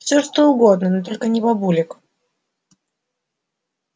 всё что угодно но только не бабулек